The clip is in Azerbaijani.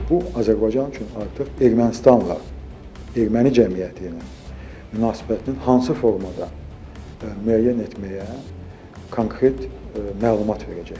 Bu Azərbaycan üçün artıq Ermənistanla, Erməni cəmiyyəti ilə münasibətinin hansı formada müəyyən etməyə konkret məlumat verəcəkdir.